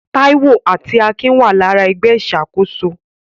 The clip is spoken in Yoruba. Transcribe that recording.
Taiwo àti Akin wà lára ẹgbẹ́ ìṣàkóso.